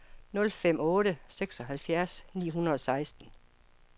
nul fem fem otte seksoghalvfjerds ni hundrede og seksten